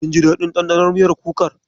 Kin ji daɗin ɗanɗanon miyar kukar?